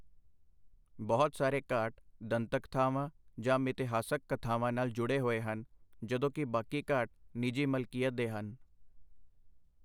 ਬਹੁਤ ਸਾਰੇ ਘਾਟ ਦੰਤਕਥਾਵਾਂ ਜਾਂ ਮਿਥਿਹਾਸਕ ਕਥਾਵਾਂ ਨਾਲ ਜੁੜੇ ਹੋਏ ਹਨ, ਜਦੋਂ ਕਿ ਬਾਕੀ ਘਾਟ ਨਿਜੀ ਮਲਕੀਅਤ ਦੇ ਹਨ।